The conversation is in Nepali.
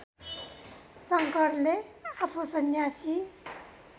शङ्करले आफू सन्यासी